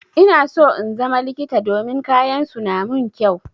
Ina so in zama likita domin kayan su na mun kyau.